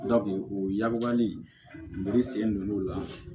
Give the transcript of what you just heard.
o yababubali sen don lu la